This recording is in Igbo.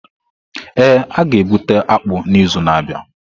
Ee, a ga-egbute akpu n’izu na-abịa.